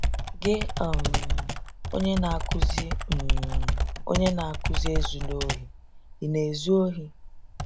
Gị, um onye na-akụzi um onye na-akụzi “Ezula ohi, ” ị na-ezu ohi?